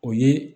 O ye